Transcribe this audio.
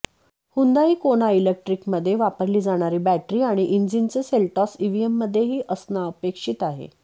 Hyundai Kona इलेक्ट्रिकमध्ये वापरली जाणारी बॅटरी आणि इंजिनच सेल्टॉस ईव्हीमध्येही असणं अपेक्षित आहे